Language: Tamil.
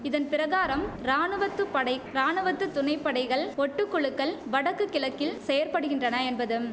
இதன் பிரகாரம் ராணுவத்துப்படை ராணுவத்து துணைப்படைகள் ஒட்டு குழுக்கள் வடக்கு கிழக்கில் செயற்படுகின்றன என்பதும்